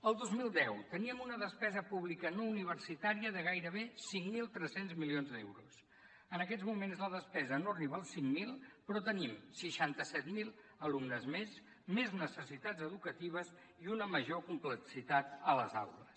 el dos mil deu teníem una despesa pública no universitària de gairebé cinc mil tres cents milions d’euros en aquests moments la despesa no arriba als cinc mil però tenim seixanta set mil alumnes més més necessitats educatives i una major complexitat a les aules